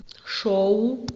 шоу